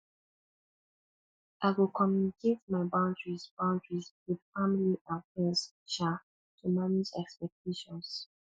i go communicate my boundaries boundaries with family and friends um to manage expectations